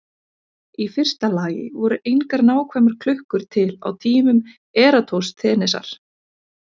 Í fyrsta lagi voru engar nákvæmar klukkur til á tímum Eratosþenesar.